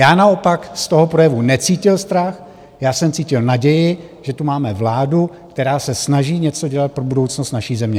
Já naopak z toho projevu necítil strach, já jsem cítil naději, že tu máme vládu, která se snaží něco dělat pro budoucnost naší země.